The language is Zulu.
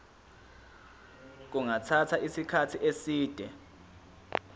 kungathatha isikhathi eside